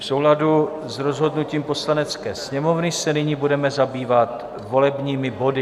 V souladu s rozhodnutím Poslanecké sněmovny se nyní budeme zabývat volebními body.